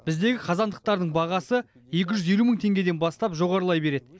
біздегі қазандықтардың бағасы екі жүз елу мың теңгеден бастап жоғарылай береді